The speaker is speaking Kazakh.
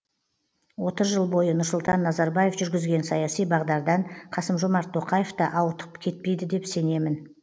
отыз жыл бойы нұрсұлтан назарбаев жүргізген саяси бағдардан қасым жомарт тоқаев та ауытқып кетпейді деп сенемін